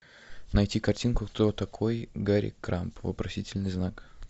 найти картинку кто такой гарри крамб вопросительный знак